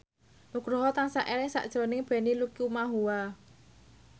Nugroho tansah eling sakjroning Benny Likumahua